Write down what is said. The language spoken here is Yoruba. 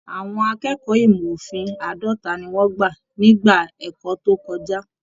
Àwọn akẹ́kọ̀ọ́ ìmọ òfin àádọta ní wọn gbà nígbà ẹ̀kọ́ tó kọjá.